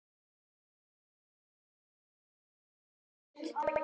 Hún veit hvaða spurning kemur næst.